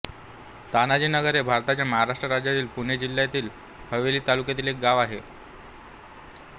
तानाजीनगर हे भारताच्या महाराष्ट्र राज्यातील पुणे जिल्ह्यातील हवेली तालुक्यातील एक गाव आहे